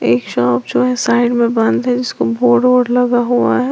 एक शॉप जो है साइड में बंद है जिसको बोर्ड वोर्ड लगा हुआ है।